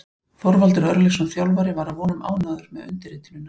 Þorvaldur Örlygsson þjálfari var að vonum ánægður við undirritunina.